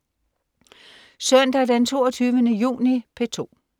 Søndag den 22. juni - P2: